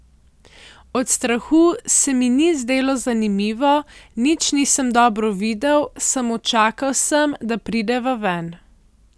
Od strahu se mi ni zdelo zanimivo, nič nisem dobro videl, samo čakal sem, da prideva ven.